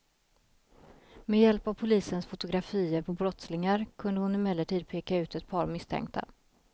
Med hjälp av polisens fotografier på brottslingar kunde hon emellertid peka ut ett par misstänkta.